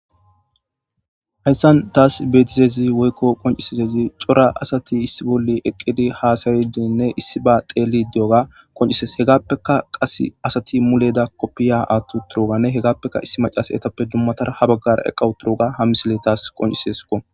hayssan taas beetizezi woykko qoncisizezi cora asati issi bolli eqqidi haasaridiinne issi ba teeli diyoga qoncisees hegappeka qas asati muleda koppiya aattu turuganne hegappeka issi macas etappe dummatara ha baggar eqawu turuga hamisile taas qoncisesko